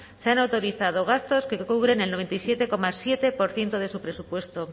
se han autorizado gastos que cubren el noventa y siete coma siete por ciento de su presupuesto